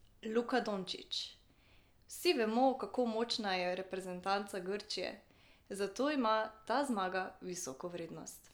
Luka Dončić: "Vsi vemo, kako močna je reprezentanca Grčije, zato ima ta zmaga visoko vrednost.